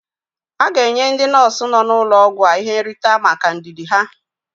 A ga-enye ndị nọọsụ nọ n'ụlọ ọgwụ a ihe nrite maka ndidi ha.